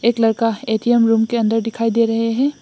एक लड़का A T M room के अंदर दिखाई दे रहे हैं।